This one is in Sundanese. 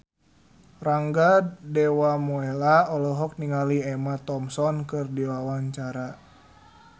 Rangga Dewamoela olohok ningali Emma Thompson keur diwawancara